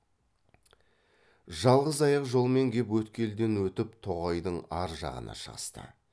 жалғыз аяқ жолмен кеп өткелден өтіп тоғайдың ар жағына шығысты